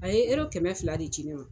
A ye ero kɛmɛ fila de ci ne ma.